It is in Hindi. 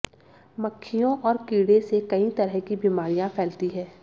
मक्खियों और कीड़े से कई तरह की बीमारियां फैलती हैं